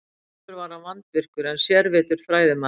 Sjálfur var hann vandvirkur en sérvitur fræðimaður.